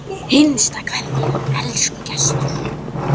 HINSTA KVEÐJA Elsku Gestur.